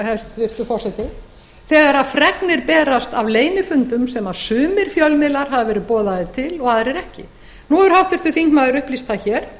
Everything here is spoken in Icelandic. hæstvirtur forseti þegar fregnir berast af leynifundum sem sumir fjölmiðlar hafa verið boðaðir til og aðrir ekki nú hefur háttvirtur þingmaður upplýst það hér